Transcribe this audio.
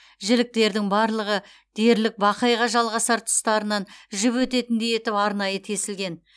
жіліктердің барлығы дерлік бақайға жалғасар тұстарынан жіп өтетіндей етіп арнайы тесілген